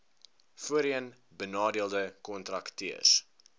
voorheen benadeelde kontrakteurs